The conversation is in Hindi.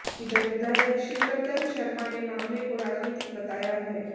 इधर विधायक शिवरतन शर्मा ने मामले को राजनीतिक बताया है